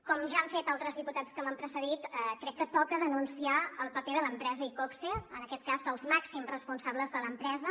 com ja han fet altres diputats que m’han precedit crec que toca denunciar el paper de l’empresa iqoxe en aquest cas dels màxims responsables de l’empresa